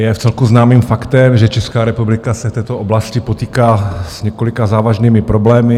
Je vcelku známým faktem, že Česká republika se v této oblasti potýká s několika závažnými problémy.